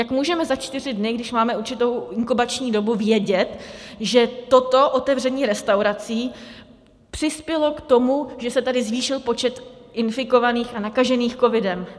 Jak můžeme za čtyři dny, když máme určitou inkubační dobu, vědět, že toto otevření restaurací přispělo k tomu, že se tady zvýšil počet infikovaných a nakažených covidem?